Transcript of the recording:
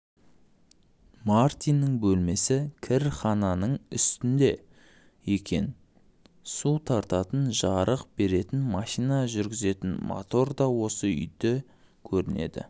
мартиннің бөлмесі кірхананың үстінде екен су тартатын жарық беретін машина жүргізетін мотор да осы үйде көрінеді